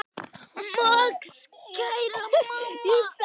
Max: Kæra mamma.